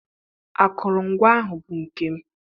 Akụrụngwa ahụ bụ nke m.